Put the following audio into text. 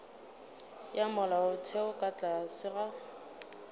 ya molaotheo ka tlase ga